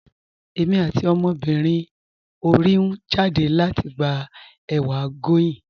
Ẹ̀mi àti ọmọbírín orí n jádẹ̀ lati gbà èwà goyín.